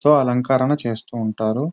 So అలంకరణ చేస్తూ ఉంటారు.